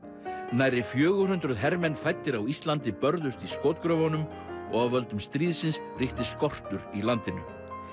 nærri fjögur hundruð hermenn fæddir á Íslandi börðust í skotgröfunum og af völdum stríðsins ríkti skortur í landinu